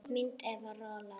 Mynd: Edwin Roald.